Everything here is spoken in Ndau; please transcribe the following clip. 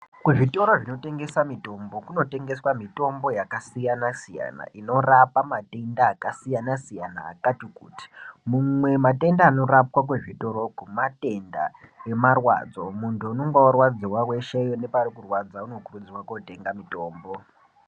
Kuzvitoro zvinotengesa mitombo kunotengeswa mitombo yakasiyana-siyana inorapa matenda akasiyana-siyana akati kuti. Mimwe matenda anorapwe kuzvitoroko matenda emarwadzo muntu unonga varwadziva veshe nepari kurwadza unokurudzirwa kotenga mitombo.